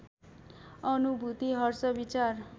अनुभूति हर्ष विचार